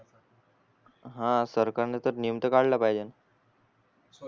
हा सरकार न तर नियम तर पाहिजे न